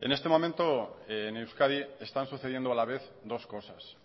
en este momento en euskadi están sucediendo a la vez dos cosas